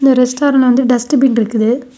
இந்த ரெஸ்டாரன்ட் வந்து dustbin இருக்குது.